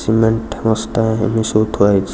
cement ବସ୍ତା ଏବେ ସବୁ ଥୁଆ ହେଇଚି --